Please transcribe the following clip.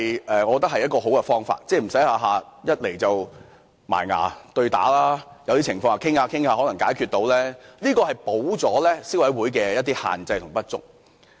我覺得這亦是好方法，令雙方不用動輒打官司，因為有些情況在商討後，是可以解決到的，這能夠彌補消委會的一些限制及不足。